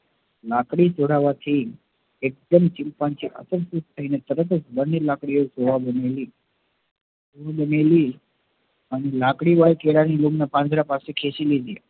લાકડી તોડવાથી એક દમ chimpanzee આગંતુક થઇ ને તરત જ બંને લાકડીયો થી કેળા ની લૂમ ને પાંજરા થી પાસે ખેંચી લીધી